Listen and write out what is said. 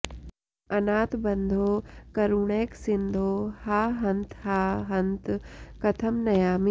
अनाथबन्धो करुणैकसिन्धो हा हन्त हा हन्त कथं नयामि